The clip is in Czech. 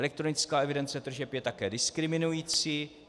Elektronická evidence tržeb je také diskriminující.